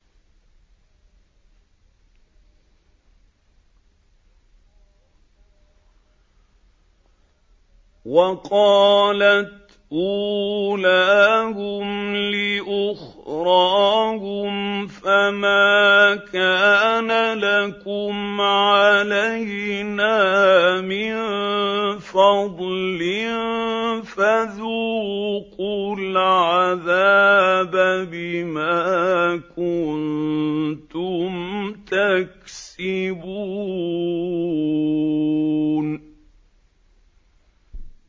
وَقَالَتْ أُولَاهُمْ لِأُخْرَاهُمْ فَمَا كَانَ لَكُمْ عَلَيْنَا مِن فَضْلٍ فَذُوقُوا الْعَذَابَ بِمَا كُنتُمْ تَكْسِبُونَ